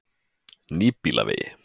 Nýbýlavegi